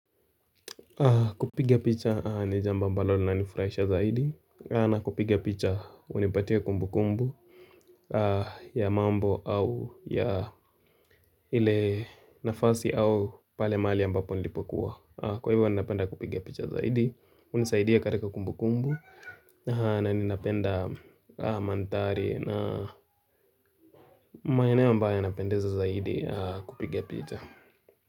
Kupiga picha ni jambo ambalo lanifurahisha zaidi na kupiga picha hunipatia kumbukumbu ya mambo au ya ile nafasi au pale mali ambapo nilipokua Kwa hivyo ninapenda kupiga picha zaidi hunisaidia katika kumbukumbu na ninapenda mandhari na maeneo ambayo yanapendeza zaidi kupiga picha.